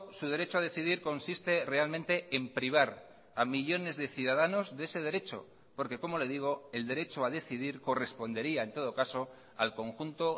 su derecho a decidir consiste realmente en privar a millónes de ciudadanos de ese derecho porque como le digo el derecho a decidir correspondería en todo caso al conjunto